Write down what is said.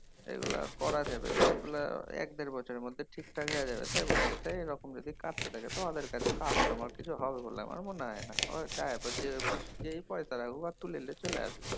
এগুলা করা যাবে এগুলা এক দের বছরের মধ্যে ঠিক থাক হয়া যাবে টাই বলছে। তা এইরকম যদি কাটতে থাকে তো ওদের কাছে customer তো কিছু হবে বলে তো আমার মনে হয়না। যেই পয়সা রাখুক তুলে লিয়ে চলে আসবে।